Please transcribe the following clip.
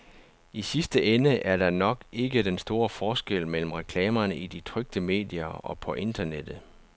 I sidste ende er der nok ikke den store forskel mellem reklamerne i de trykte medier og på internettet.